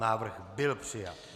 Návrh byl přijat.